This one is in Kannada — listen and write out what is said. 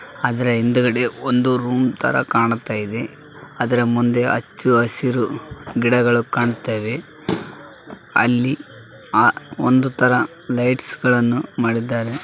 ಅದರ ಹಿಂದುಗಡೆ ಒಂದು ರೂಮ್‌ ತರ ಕಾಣ್ತಾ ಇದೆ ಅದರ ಮುಂದೆ ಹಚ್ಚಹಸಿರು ಗಿಡಗಳು ಕಾಣ್ತಾ ಇದೆ ಅಲ್ಲಿ ಒಂದು ತರ ಲೈಟ್ಸ್‌ ಗಳನ್ನು ಮಾಡಿದ್ದಾರೆ.